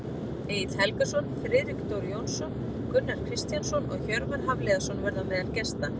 Egill Helgason, Friðrik Dór Jónsson, Gunnar Kristjánsson og Hjörvar Hafliðason verða á meðal gesta.